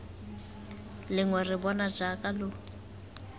lengwe re bona jaaka lo